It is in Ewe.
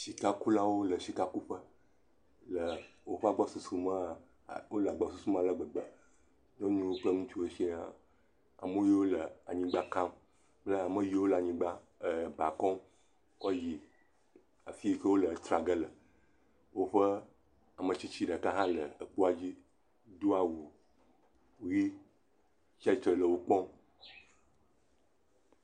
Sikukulawo le sika kuƒe ;le woƒe agbɔsusu me wole gbɔsusu me ale gbegbe, nyɔnuwo kple ŋutsuwo siaa, ame yiwo le anyigba ka kple ame yiwo le aba kɔm kɔ le yiyim ɖe afi yi ke wole etsia ge le, woƒe ametsitsi ɖeka le kpoa dzi do awu ʋe tsi atsitre hele wo kpɔm